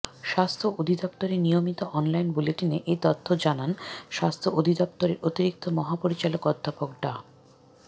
স্বাস্থ্য অধিদপ্তরের নিয়মিত অনলাইন বুলেটিনে এ তথ্য জানান স্বাস্থ্য অধিদপ্তরের অতিরিক্ত মহাপরিচালক অধ্যাপক ডা